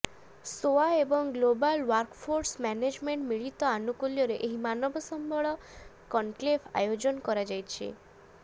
ସୋଆ ଏବଂ global workforce ମ୍ୟାନେଜମେଣ୍ଟର ମିଳିତ ଆନୁକୂଲ୍ୟରେ ଏହି ମାନବ ସମ୍ବଳ କନକ୍ଲେଭ ଆୟୋଜନ କରାଯାଉଛି